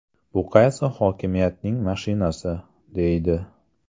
Bu qaysi hokimiyatning mashinasi?”, deydi.